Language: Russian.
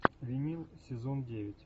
винил сезон девять